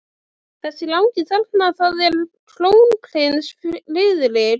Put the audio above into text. Þessi langi þarna- það er krónprins Friðrik.